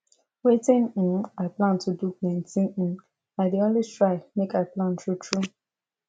wetin um i plan to do plenty um i dey always try make i plan true true